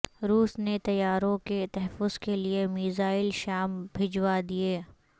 روس نے طیاروں کے تحفظ کے لیے میزائل شام بھجوا دیے